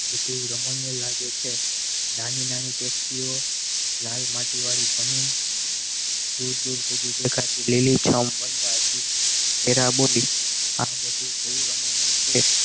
બધું રમણીય લાગે છે નાની નાની taxi ઓ લાલ માટી વાળી જમી દૂર દૂર સુધી દેખાતી લીલીછમ વનરાજી વેરા બોલી આ બધું કેવું રમણીય છે?